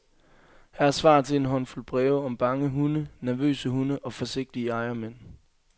Her er svar til en håndfuld breve om bange hunde, nervøse hunde og forsigtige ejermænd.